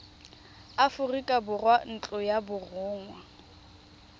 aforika borwa ntlo ya borongwa